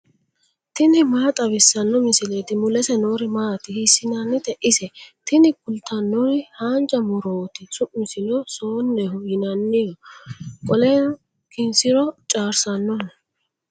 tini maa xawissanno misileeti ? mulese noori maati ? hiissinannite ise ? tini kultannori haanjja murooti su'misino soonneho yinanni qoleno kinsiro caarsaannoho.